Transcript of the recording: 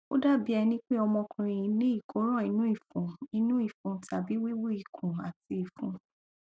ó dàbí ẹni pé ọmọkùnrin yín ní ìkóràn inú ìfun inú ìfun tàbí wíwú ikùn àti ìfun